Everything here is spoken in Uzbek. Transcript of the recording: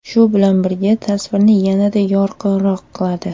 Shu bilan birga, tasvirni yanada yorqinroq qiladi.